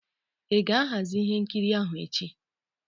Ị ga-ahazi ihe nkiri ahụ echi?